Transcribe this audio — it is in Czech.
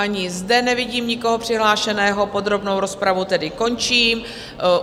Ani zde nevidím nikoho přihlášeného, podrobnou rozpravu tedy končím.